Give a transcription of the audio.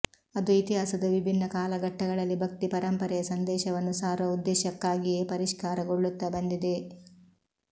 ಅದು ಇತಿಹಾಸದ ವಿಭಿನ್ನ ಕಾಲಘಟ್ಟಗಳಲ್ಲಿ ಭಕ್ತಿ ಪರಂಪರೆಯ ಸಂದೇಶವನ್ನು ಸಾರುವ ಉದ್ದೇಶಕ್ಕಾಗಿಯೇ ಪರಿಷ್ಕಾರಗೊಳ್ಳುತ್ತಾ ಬಂದಿದೆ